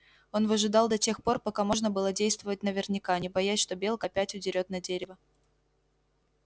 он выжидал до тех пор пока можно было действовать наверняка не боясь что белка опять удерёт на дерево